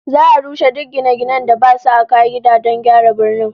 Za'a rushe duk gine-ginen da basu a ka'ida don gyara birnin